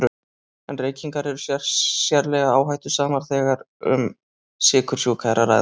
En reykingar eru sérlega áhættusamar þegar um sykursjúka er að ræða.